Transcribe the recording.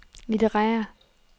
litterære